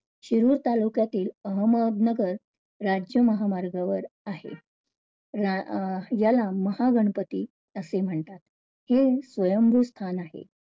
शिरूळ तालुक्यातील अहमदनगर राज्य महामार्गावर आहे. या~ याला महागणपती असे म्हणतात. हे स्वयंभू स्थान आहे.